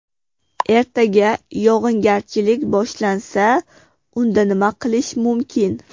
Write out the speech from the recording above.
Ertaga yog‘ingarchilik boshlansa, unda nima qilish mumkin?